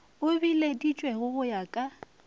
e bileditšwego go ya ka